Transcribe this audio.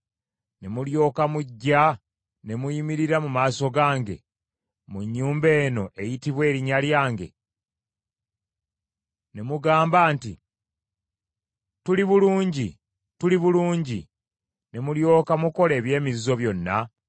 ne mulyoka mujja ne muyimirira mu maaso gange mu nnyumba eno, eyitibwa Erinnya lyange, ne mugamba nti, ‘Tuli bulungi, tuli bulungi,’ ne mulyoka mukola eby’emizizo byonna?